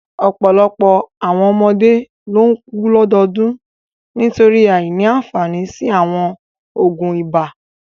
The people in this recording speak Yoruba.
Ọ̀pọ̀lọpọ̀ àwọn ọmọdé ló ń kú lọ́dọọdún nítorí àìní àfààní sí àwọn oògùn ibà.